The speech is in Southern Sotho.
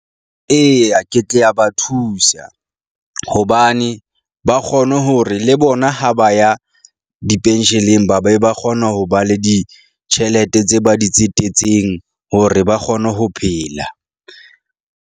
Eya, ke tle ya ba thusa hobane ba kgone hore le bona ha ba ya di-pension-leng ba be ba kgona ho ba le ditjhelete tse ba di tsetetseng hore ba kgone ho phela.